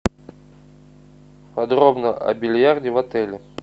подробно о бильярде в отеле